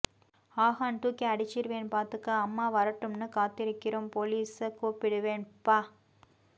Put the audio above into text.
ஆஹான் தூக்கி அடிச்சுருவேன் பார்த்துக்க அம்மா வரட்டும்னு காத்திருக்கிறோம் போலீச கூப்பிடுவேன் ப்ப்ப்ப்பாஆஆஆஆ